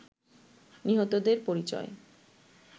নিহতদের পরিচয়